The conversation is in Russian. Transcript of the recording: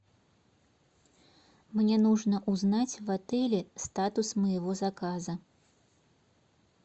мне нужно узнать в отеле статус моего заказа